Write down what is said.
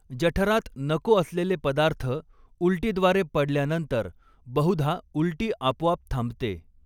जठरात नको असलेले पदार्थ उलटीद्वारे पडल्यानंतर बहुधा उलटी आपोआप थांबते.